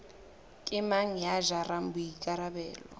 ke mang ya jarang boikarabelo